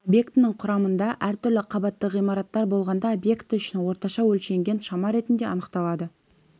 объектінің құрамында әртүрлі қабатты ғимараттар болғанда объекті үшін орташа өлшенген шама ретінде анықталады